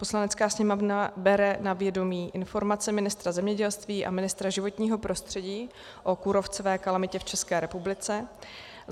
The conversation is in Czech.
Poslanecká sněmovna bere na vědomí informaci ministra zemědělství a ministra životního prostředí o kůrovcové kalamitě v České republice;